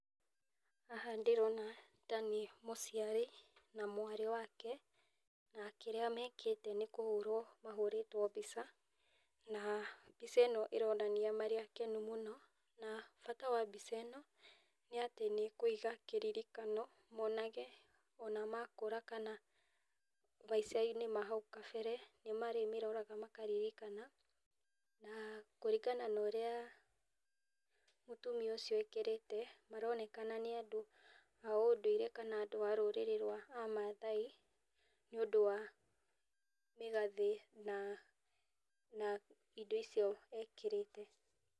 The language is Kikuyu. Haha ndĩrona tarĩ mũciari na mwarĩ wake nakĩrĩa mekĩte nĩ kũhũrwo mahũrĩtwe mbica, na mbica ĩno ĩronania marĩ akenu mũno na bata wa mbica ĩno nĩatĩ nĩ kũiga kĩririkano mũnage ona makũra kana maicainĩ ma kahau kabere nĩ marĩmĩroraga makaririkana, na kũringana na ũrĩa mũtumia ũcio ekĩrĩtĩ maronekana nĩ andũ aũndũire kana andũ arũrĩrĩ amathai nĩũndũ wa mĩgathĩ na indo icio ekĩrĩte.